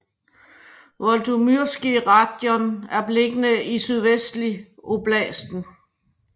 Volodymyrskyj rajon er beliggende sydvestligt i oblasten